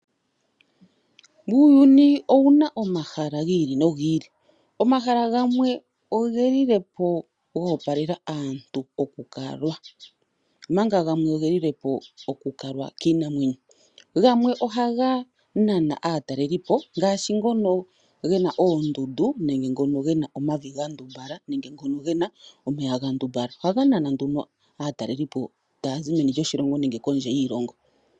Uuyuni owu na omahala gi ili nogi ili. Omahala gamwe oge lile po go opalela aantu okukalwa, omanga gamwe oge lile po okukalwa kiinamwenyo. Gamwe ohaga nana aatalelipo ngaashi ngono ge na oondundu nenge ngono ge na omavi ga ndumbala nenge ngono ge na omeya ga ndumbala. Ohaga nana nduno aatalelipo taa zi meni lyoshilongo nenge kondje yiilongo.